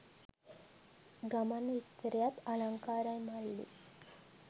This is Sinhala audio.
ගමන් විස්තරයත් අලංකාරයි මල්ලි.